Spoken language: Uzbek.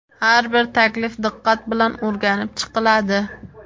Har bir taklif diqqat bilan o‘rganib chiqiladi.